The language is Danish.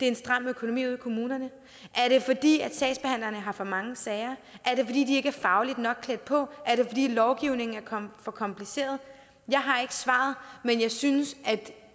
en stram økonomi ude i kommunerne er det fordi sagsbehandlerne har for mange sager er det fordi de ikke er fagligt nok klædt på er det fordi lovgivningen er for kompliceret jeg har ikke svaret men jeg synes at